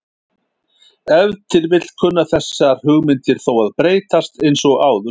Ef til vill kunna þessar hugmyndir þó að breytast eins og áður sagði.